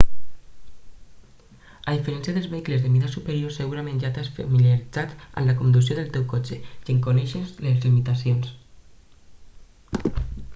a diferència dels vehicles de mida superior segurament ja t'has familiaritzat amb la conducció del teu cotxe i en coneixes les limitacions